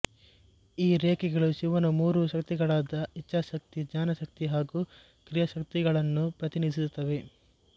ಈ ರೇಖೆಗಳು ಶಿವನ ಮೂರು ಶಕ್ತಿಗಳಾದ ಇಚ್ಚಾಶಕ್ತಿ ಜ್ಞಾನಶಕ್ತಿ ಹಾಗೂ ಕ್ರಿಯಾಶಕ್ತಿಗಳನ್ನು ಪ್ರತಿನಿಧಿಸುತ್ತವೆ